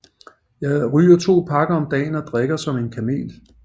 Jeg ryger to pakker om dagen og drikker som en kamel